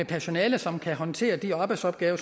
personale som kan håndtere de arbejdsopgaver